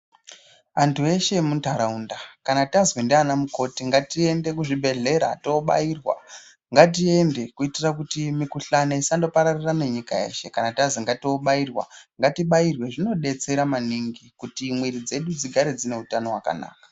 Anthu eshe emuntharaunda kana tazwi ndiana mukoti ngatiende kuzvibhedhlera toobairwa ngatiende kuitira kuti mikuhlani isandopararire nenyika yeshe kana tazi ngatoobairwa ngatibairwe zvinodetsera maningi kuti mwiri dzedu digare dzine utano hwakanaka.